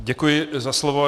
Děkuji za slovo.